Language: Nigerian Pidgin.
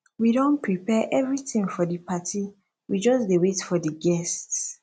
we don prepare everything for the party we just dey wait for the guests